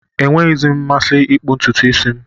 Enweghịzi m mmasị ịkpụ ntutu isi m